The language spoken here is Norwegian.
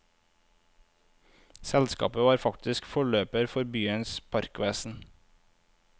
Selskapet var faktisk forløper for byens parkvesen.